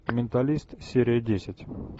менталист серия десять